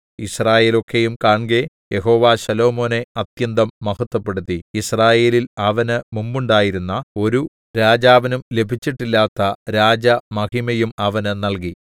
യിസ്രായേലൊക്കെയും കാൺകെ യഹോവ ശലോമോനെ അത്യന്തം മഹത്വപ്പെടുത്തി യിസ്രായേലിൽ അവന് മുമ്പുണ്ടായിരുന്ന ഒരു രാജാവിനും ലഭിച്ചിട്ടില്ലാത്ത രാജമഹിമയും അവന് നല്കി